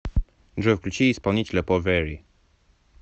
джой включи исполнителя повери